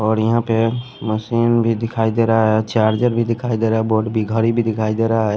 और यहां पे मशीन भी दिखाई दे रहा है चार्जर भी दिखाई दे रहा है बोर्ड भी घड़ी भी दिखाई दे रहा है।